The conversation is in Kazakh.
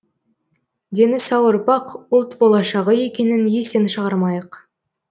дені сау ұрпақ ұлт болашығы екенін естен шығармайық